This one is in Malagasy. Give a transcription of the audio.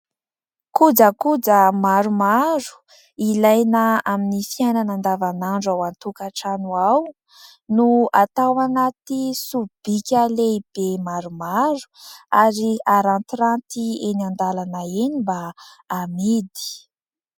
Kojakoja maromaro ilaina amin'ny fiainana andavanandro ao an-tokatrano ao, no atao anaty sobika lehibe maromaro ary arantiranty eny an-dalana eny mba ho amidy.